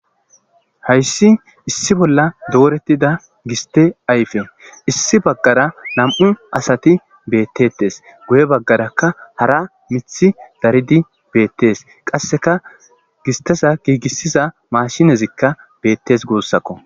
Haysi issi bolla dooretida giste ayfe issi bagara nam'uadati beetetes guye bagaraka hara mithi daridi beetes. Qaseka gisteza giigisiza mashinezika beetes gusako.